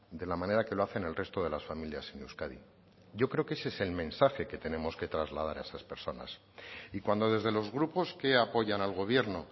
de la manera que lo hacen el resto de las familias en euskadi yo creo que ese es el mensaje que tenemos que trasladar a esas personas y cuando desde los grupos que apoyan al gobierno